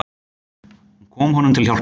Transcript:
Hún kom honum til hjálpar.